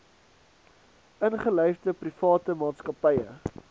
ingelyfde private maatskappye